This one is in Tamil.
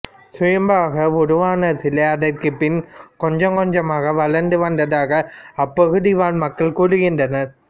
சுயம்புவாக உருவான சிலை அதற்கு பின் கொஞ்சம் கொஞ்சமாக வளர்ந்து வந்ததாக அப்பகுதிவாழ் மக்கள் கூறுகின்றனர்